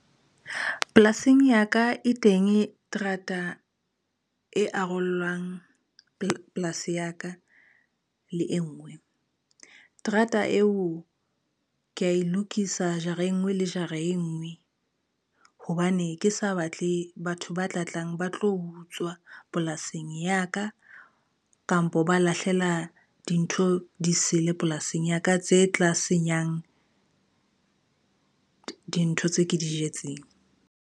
Polasing ya ka, e teng terata e arolang polasi ya ka le e ngwe. Terata eo ke a e lokisa jara e ngwe le jara e ngwe hobane, ke sa batle batho ba tla tlang ba tlo utswa polasing ya ka, kampo ba lahlela dintho di sele polasing ya ka, tse tla senyang dintho tse ke di jetseng.